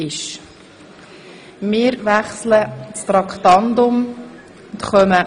SP-JUSO-PSA (Hässig Vinzens, Zollikofen)